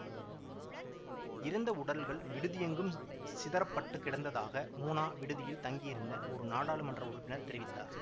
இறந்த உடல்கள் விடுதி எங்கும் சிதறப்பட்டுக் கிடந்ததாக மூனா விடுதியில் தங்கியிருந்த ஒரு நாடாளுமன்ற உறுப்பினர் தெரிவித்தார்